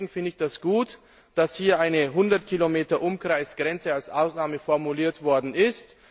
Deswegen finde ich es gut, dass hier eine 100 Kilometer Umkreis Grenze als Ausnahme formuliert worden ist.